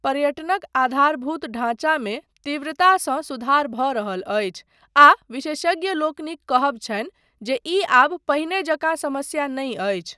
पर्यटनक आधारभूत ढाँचामे तीव्रतासँ सुधार भऽ रहल अछि आ विशेषज्ञलोकनिक कहब छनि जे ई आब पहिने जकाँ समस्या नहि अछि।